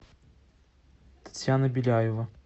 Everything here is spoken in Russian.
татьяна беляева